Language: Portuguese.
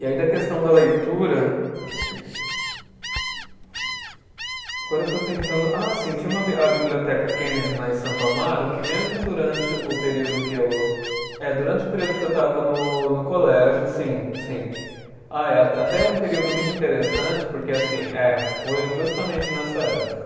E aí da questão da leitura, agora eu estou tentando, ah, sim, tinha uma bi, a biblioteca Kennedy lá em Santo Amaro, que mesmo durante o período que eu, eh durante o período que eu estava no no colégio, sim, sim, ah é, até até um período muito interessante, porque assim, eh foi justamente nessa época.